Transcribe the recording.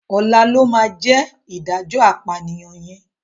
Ọ̀la ló máa jẹ́ ìdájọ́ apànìyàn yẹn